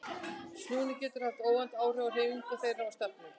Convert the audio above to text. Snúningur þeirra getur haft óvænt áhrif á hreyfingu þeirra og stefnu.